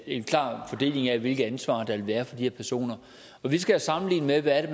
en klar fordeling af hvilket ansvar der vil være for de her personer og vi skal sammenligne med hvad det